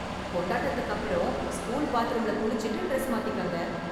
கொண்டாட்டத்துக்கு அப்பறம், ஸ்கூல் பாத்ரூம்ல குளிச்சுட்டு டிரெஸ் மாத்திக்கங்க.